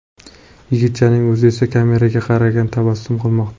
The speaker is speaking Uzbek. Yigitchaning o‘zi esa kameraga qarab tabassum qilmoqda.